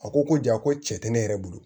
A ko ko ja ko cɛ tɛ ne yɛrɛ bolo